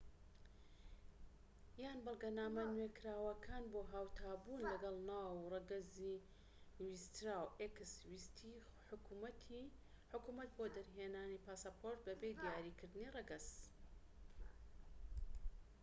ویستی حکومەت بۆ دەرهێنانی پاسەپۆرت بە بێ دیاریکردنی ڕەگەز x یان بەڵگەنامە نوێکراوەکان بۆ هاوتا بوون لەگەڵ ناو و ڕەگەزی ویستراو